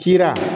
Kira